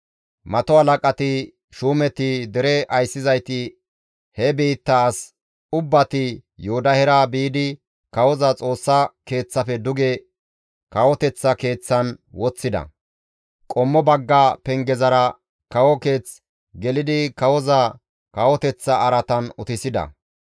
Mato halaqati, shuumeti, dere ayssizayti he biittaa as ubbati Yoodahera biidi kawoza Xoossa Keeththafe duge kawoteththa keeththan woththida; qommo bagga pengezara kawo keeth gelidi kawoza kawoteththa araatan utisida.